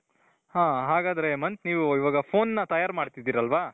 ಹಾo ಹಾಗಾದ್ರೆ ಹೇಮಂತ್ ನೀವು ಇವಾಗ phoneನ ತಯಾರ್ ಮಾಡ್ತಿದ್ದೀರಲ್ವಾ ?